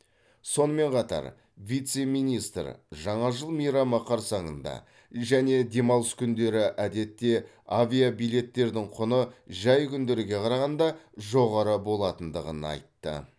сонымен қатар вице министр жаңа жыл мейрамы қарсаңында және демалыс күндері әдетте авиабилеттердің құны жай күндерге қарағанда жоғары болатындығын айтты